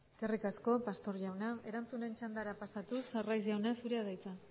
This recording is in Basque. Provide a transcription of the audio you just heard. eskerrik asko pastor jauna erantzunen txandara pasatuz arraiz jauna zurea da hitza